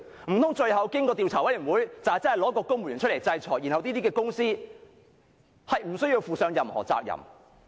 難道最後經過調查委員會調查後，真的推一位公務員出來承擔，然後這些公司便無須負上任何責任？